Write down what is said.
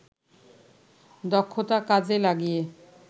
দক্ষতা কাজে লাগিয়ে